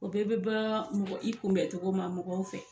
O bɛɛ bɛ ban mɔgɔ i kunbɛn cogo ma mɔgɔw fɛ.